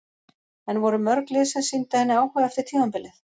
En voru mörg lið sem sýndu henni áhuga eftir tímabilið?